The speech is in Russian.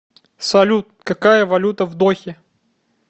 салют какая валюта в дохе